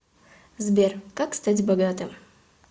сбер как стать богатым